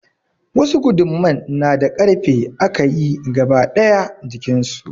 Wasu guduman na da ƙarfe aka yi gaba daya jikin su.